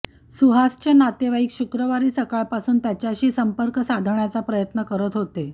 सुहासचे नातेवाईक शुक्रवारी सकाळपासून त्याच्याशी संपर्क साधण्याचा प्रयत्न करत होते